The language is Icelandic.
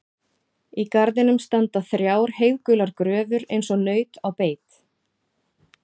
Í garðinum standa þrjár heiðgular gröfur eins og naut á beit.